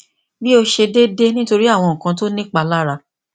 bi o ṣe deede nitori awọn nkan ti o ni ipalara